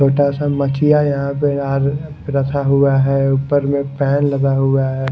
छोटा सा मखिया यहां पे यार रखा हुआ है ऊपर में फैन लगा हुआ है।